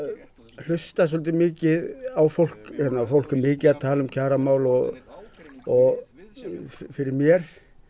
hlusta svolítið mikið á fólk og fólk er mikið að tala um kjaramál og og fyrir mér